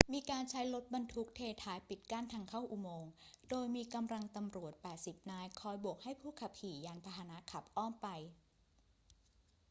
มีการใช้รถบรรทุกเทท้ายปิดกั้นทางเข้าอุโมงค์ โดยมีกำลังตำรวจ 80 นายคอยโบกให้ผู้ขับขี่ยานพาหนะขับอ้อมไป